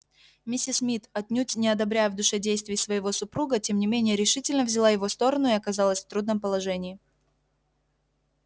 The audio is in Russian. миссис мид отнюдь не одобряя в душе действий своего супруга тем не менее решительно взяла его сторону и оказалась в трудном положении